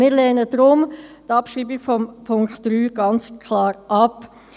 Wir lehnen deshalb die Abschreibung des Punkts 3 ganz klar ab.